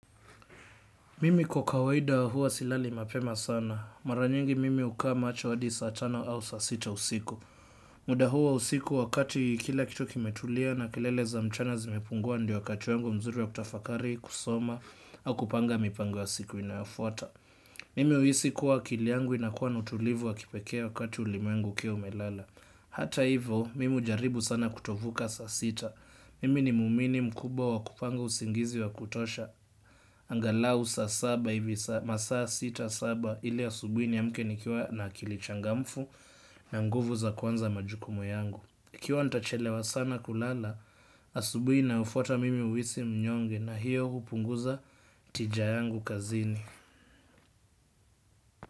Mimi kwa kawaida huwa silali mapema sana. Mara nyingi mimi hukaa macho hadi saa tano au saa sita usiku. Muda huo wa usiku wakati kila kitu kimetulia na kelele za mchana zimepungua ndio wakati wangu mzuri wa kutafakari, kusoma, au kupanga mipango ya siku inayofuata. Mimi huhisi kuwa akili yangu inakuwa na utulivu wa kipekee wakati ulimwengu ukiwa umelala. Hata hivo, mimi hujaribu sana kutovuka saa sita. Mimi ni muumini mkubwa wa kupanga usingizi wa kutosha. Angalau saa saba hivi, masaa sita saba ili asubuni niamke nikiwa na akili changamfu na nguvu za kuanza majukumu yangu ikiwa ntachelewa sana kulala asubuhi inayofata mimi huhisi mnyonge na hio hupunguza tija yangu kazini.